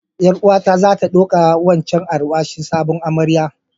Yar uwa ta za ta ɗauka wancan alwashin sabon amarya.